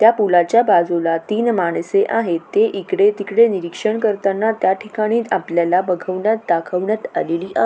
त्या पूलाच्या बाजूला तीन माणसे आहेत ते इकडे तिकडे निरीक्षण करताना त्या ठिकाणी आपल्याला बघवण्यात दाखवण्यात आलेली आ--